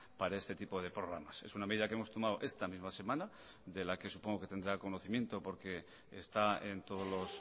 para este tipo de programas es una medida que hemos tomado esta misma semana de la que supongo que tendrá conocimiento porque está en todos los